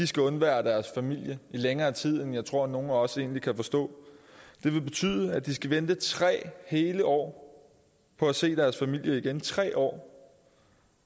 skal undvære deres familie i længere tid end jeg tror nogen af os egentlig kan forstå det vil betyde at de skal vente tre hele år på at se deres familie igen tre år